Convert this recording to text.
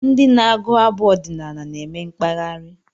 Ndị na-agụ abụ ọdinaala na-eme mkpaghari